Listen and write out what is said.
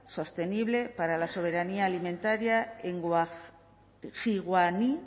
sostenible para la soberanía alimentaria en jiguaní